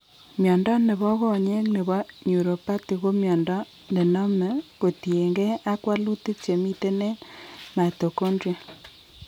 Mnyondo nebo konyek nebo neuropathy ko mnyondo nename kotien gee ak walutik chemiten en mitochondrial